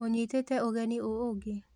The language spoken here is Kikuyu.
ũnyitĩte ũgeni ũ ũngĩ?